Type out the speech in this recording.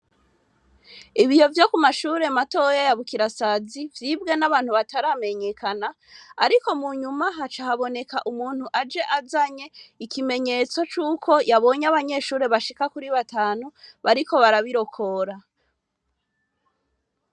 Ibiyo vyo kumashure matoya ya bukirasazi vyibwe n'abantu bataramenyekana ariko munyuma haca haboneka umuntu aje azanye ikimenyetso c'uko yabonye abanyeshure bashika kuri batanu bariko barabirokora.